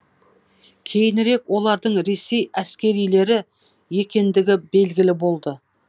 кейінірек олардың ресей әскерилері екендігі белгілі болды